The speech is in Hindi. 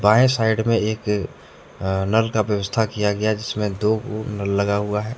बाएं साइड में एक अ नल का व्यवस्था किया गया हैं जिसमें दो वो नल लगा हुआ हैं।